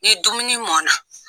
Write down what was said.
Ni dumuni mɔn na